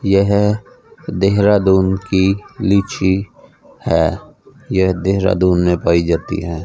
यह देहरादून की लीची है यह देहरादून में पाई जाती हैं।